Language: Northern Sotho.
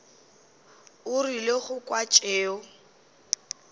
o rile go kwa tšeo